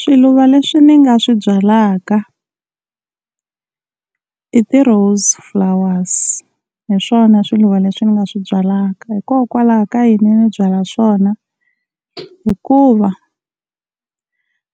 Swiluva leswi ni nga swi byalaka i ti-rose flowers, hi swona swiluva leswi ni nga swi byalaka. Hikokwalaho ka yini ni byala swona, hikuva